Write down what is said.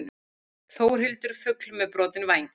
Þórhildur fugl með brotinn væng.